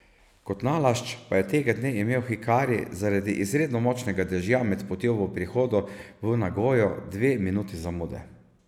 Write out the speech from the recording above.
Kot nalašč pa je tega dne imel hikari zaradi izredno močnega dežja med potjo v prihodu v Nagojo dve minuti zamude.